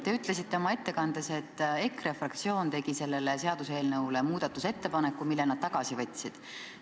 Te ütlesite oma ettekandes, et EKRE fraktsioon tegi selle seaduseelnõu kohta muudatusettepaneku, mille nad tagasi võtsid.